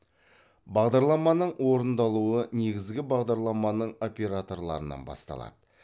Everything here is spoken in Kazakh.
бағдарламаның орындалуы негізгі бағдарламаның операторларынан басталады